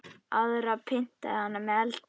Aðra pyntaði hann með eldi.